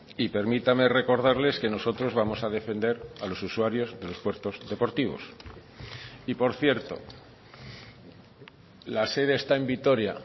y permítame recordarles que nosotros vamos a defender a los usuarios de los puertos deportivos y por cierto la sede está en vitoria